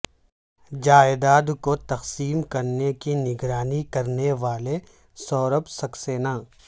جائیداد کو تقسیم کرنے کی نگرانی کرنے والے سوربھ سکسینہ